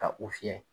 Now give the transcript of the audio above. Ka u fiyɛ